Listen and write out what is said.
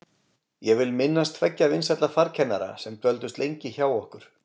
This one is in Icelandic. Ég vil minnast tveggja vinsælla farkennara sem dvöldust lengi hjá okkur.